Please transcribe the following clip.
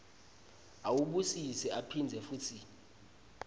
awubusise aphindze futsi